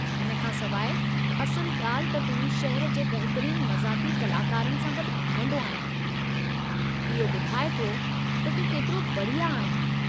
हिन खां सवाइ, असुलु ॻाल्हि त तूं शहर जे बहितरीन मज़ाक़ी कलाकारनि सां गॾु घूमंदो आहीं, इहो ॿुधाए थो त तूं केतिरो बढ़िया आहीं।